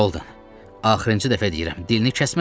Holden, axırıncı dəfə deyirəm, dilini kəsməsən.